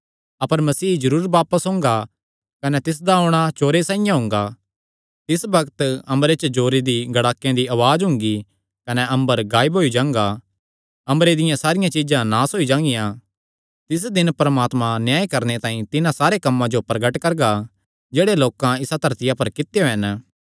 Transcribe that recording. अपर मसीह जरूर बापस ओंगा कने तिसदा औणां चोरे साइआं हुंगा तिस बग्त अम्बरे च जोरे दी गड़ाकेयां दी उआज़ हुंगी कने अम्बर गायब होई जांगा अम्बरे दियां सारियां चीज्जां नास होई जांगियां तिस दिन परमात्मा न्याय करणे तांई तिन्हां सारे कम्मां जो प्रगट करगा जेह्ड़े लोकां इसा धरतिया पर कित्यो हन